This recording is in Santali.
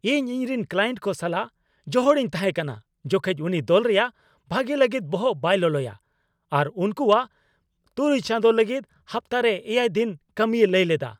ᱤᱧ ᱤᱧᱨᱮᱱ ᱠᱞᱟᱭᱮᱱᱴ ᱠᱚ ᱥᱟᱞᱟᱜ ᱡᱚᱦᱚᱲᱤᱧ ᱛᱟᱦᱮᱸ ᱠᱟᱱᱟ ᱡᱚᱠᱷᱮᱡ ᱩᱱᱤ ᱫᱚᱞ ᱨᱮᱭᱟᱜ ᱵᱷᱟᱜᱮ ᱞᱟᱹᱜᱤᱫ ᱵᱚᱦᱚᱜ ᱵᱟᱭ ᱞᱚᱞᱚᱭᱟ ᱟᱨ ᱩᱱᱠᱩᱣᱟᱜ ᱖ ᱪᱟᱸᱫᱳ ᱞᱟᱹᱜᱤᱫ ᱦᱟᱯᱛᱟᱨᱮ ᱗ ᱫᱤᱱ ᱠᱟᱹᱢᱤᱭ ᱞᱟᱹᱭ ᱞᱮᱫᱟ ᱾